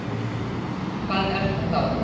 Hvað er það þá?